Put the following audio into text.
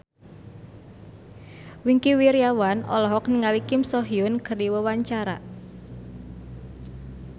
Wingky Wiryawan olohok ningali Kim So Hyun keur diwawancara